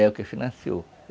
É o que financiou.